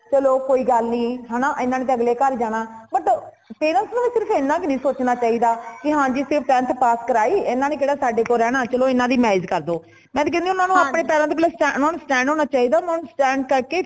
ਚਲੋ ਕੋਈ ਗੱਲ ਨਹੀਂ ਹੈਨਾ ਏਨਾ ਨੇ ਤੇ ਅਗਲੇ ਘਰ ਜਾਣਾ ਮਤਲਬ parents ਨੂੰ ਸਿਰਫ ਏਨਾ ਹੀ ਨਹੀਂ ਸੋਚਣਾ ਚਾਹੀਦਾ ਕੀ ਹਾਂਜੀ ਸਿਰਫ tenth pass ਕਰਾਈ ਏਨਾ ਨੇ ਕੇਡਾ ਸਾਡੇ ਕੋਲ ਰਹਿਣਾ ਚਲੋ ਏਨਾ ਦੀ marriage ਕਰਦੋ ਮੈਂ ਤਾ ਕਹਿਣੀ ਊਨਾ ਨੂੰ ਪਹਿਲੇ ਆਪਣੇ ਪੈਰਾਂ ਤੇ stand ਓਹਨਾ ਨੂੰ stand ਹੋਣਾ ਚਾਹੀਦਾ ਉਨ੍ਹਾਂਨੂੰ stand ਕਰਕੇ